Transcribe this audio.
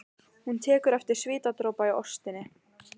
Hún tekur eftir svitadropa í óstinni.